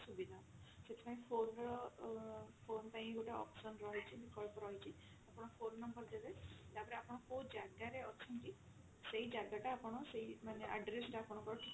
ସେଥିପାଇଁ phone ର ଅ phone ପାଇଁ ବି ଗୋଟେ option ରହିଛି ବିକଳ୍ପ ରହିଛି ଆପଣ phone number ଦେବେ ତାପରେ ଆପଣ କଉ ଜାଗା ରେ ଅଛନ୍ତି ସେଇ ଜାଗା ଟା ଆପଣ ସେଇ ମାନେ address ଟା ଆପଣଙ୍କର